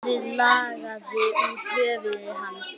Blóðið lagaði úr höfði hans.